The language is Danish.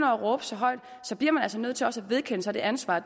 at råbe så højt bliver man altså nødt til også at vedkende sig det ansvar